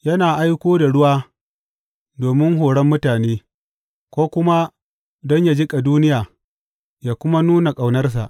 Yana aiko da ruwa domin horon mutane, ko kuma don yă jiƙa duniya yă kuma nuna ƙaunarsa.